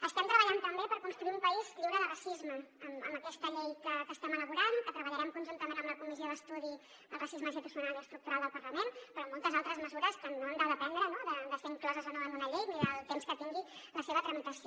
estem treballant també per construir un país lliure de racisme amb aquesta llei que estem elaborant que treballarem conjuntament amb la comissió d’estudi sobre el racisme institucional i estructural del parlament però amb moltes altres mesures que no han de dependre de ser incloses o no en una llei ni del temps que tingui la seva tramitació